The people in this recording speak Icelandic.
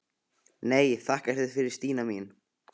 Nei, þakka þér fyrir Stína mín.